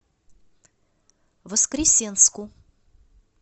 воскресенску